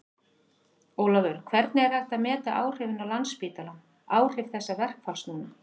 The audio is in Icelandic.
Ólafur, hvernig er hægt að meta áhrifin á Landspítalann áhrif þessa verkfalls núna?